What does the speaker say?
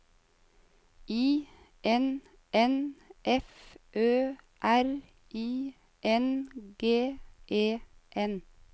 I N N F Ø R I N G E N